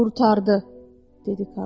Qurtardı, dedi Karlson.